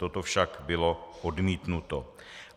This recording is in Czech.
Toto však bylo odmítnuto.